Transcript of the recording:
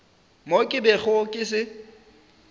mo ke bego ke se